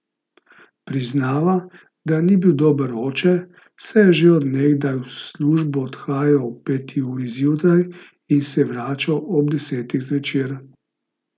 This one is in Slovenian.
Priznava, da ni bil dober oče, saj je že od nekdaj v službo odhajal ob peti uri zjutraj in se vračal ob desetih zvečer.